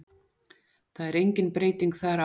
Það er engin breyting þar á.